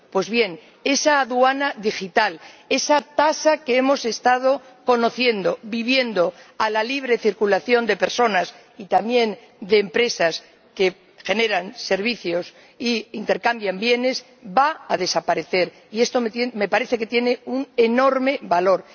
Pues bien, esa aduana digital, esa tasa que hemos estado conociendo, viviendo, a la libre circulación de personas, y también de empresas que generan servicios e intercambian bienes, va a desaparecer, y esto me parece que tiene un enorme valor.